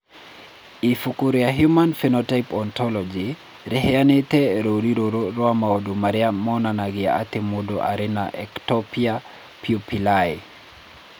Ibuku rĩa Human Phenotype Ontology rĩheanĩte rũũri rũrũ rwa maũndũ marĩa monanagia atĩ mũndũ arĩ na Ectopia pupillae.